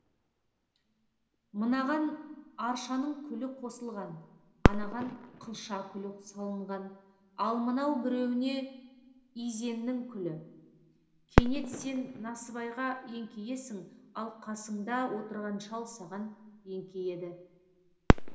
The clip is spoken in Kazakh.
мынаған аршаның күлі қосылған анаған қылша күлі салынған ал мынау біреуіне изеннің күлі кенет сен насыбайға еңкейесің ал қасыңда отырған шал саған еңкейеді